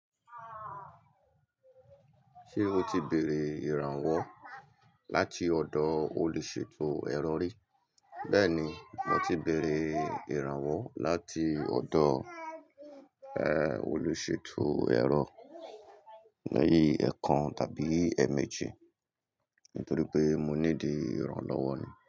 Ṣé o ti béèrè ìrànwọ́ láti ọ̀dọ̀ olùṣètò ẹ̀rọ rí? Bẹ́ẹ̀ni, mo ti béèrè ìrànwọ́ láti ọ̀dọ̀, ẹé, olùṣètò ẹ̀rọ ní ẹ̀ẹ̀kan tàbí ẹméèjì, nítorí pé mo ní dìí ìrànlọ́wọ́ ni.